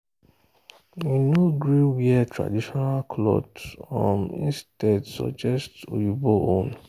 e no gree wear traditional cloth um instead suggest oyibo own